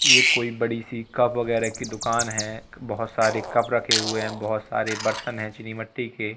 ये कोई बड़ी सी कप वगैरह की दुकान है बहुत सारे कप रखे हुए हैं बहुत सारे बर्तन हैं चीनी मिट्टी के।